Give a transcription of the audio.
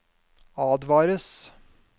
advares